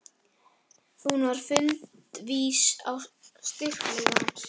Hún var fundvís á styrkleika hans.